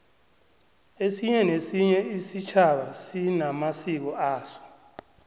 esinye nesinye isitjhaba sinamasiko aso